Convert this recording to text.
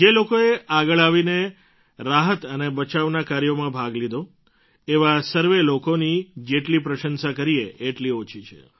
જે લોકોએ આગળ આવીને રાહત અને બચાવના કાર્યમાં ભાગ લીધો એવા સર્વે લોકોની જેટલી પ્રશંસા કરીએ એટલી ઓછી છે